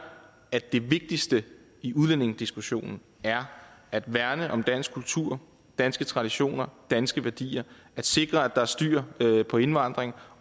at det vigtigste i udlændingediskussionen er at værne om dansk kultur danske traditioner danske værdier at sikre at der er styr på indvandringen